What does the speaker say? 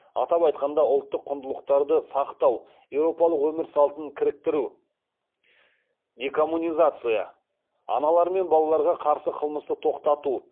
атап айтқанда ұлттық құндылықтарды сақтау еуропалық өмір салтын кіріктіру декоммунизация аналар мен балаларға қарсы қылмысты тоқтату